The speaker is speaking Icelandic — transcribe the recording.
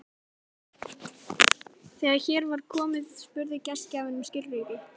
Þegar hér var komið spurði gestgjafinn um skilríki.